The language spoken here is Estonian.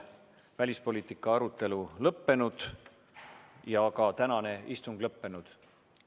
Välispoliitika arutelu on lõppenud ja ka tänane istung on lõppenud.